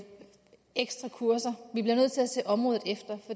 ekstra kurser vi bliver nødt til at se området efter